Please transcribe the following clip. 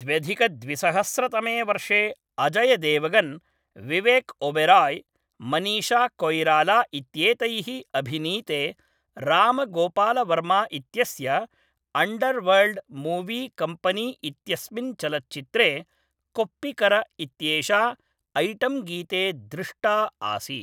द्व्यधिकद्विसहस्रतमे वर्षे अजय देवगन्, विवेक ओबेराय्, मनीषा कोयिराला इत्येतैः अभिनीते राम गोपाल वर्मा इत्यस्य अण्डर्वर्ल्ड् मूवी कम्पनी इत्यस्मिन् चलच्चित्रे कोप्पिकर इत्येषा ऐटेम्गीते दृष्टा आसीत्।